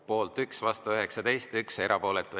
Poolt 1, vastu 19 ja erapooletuid 1.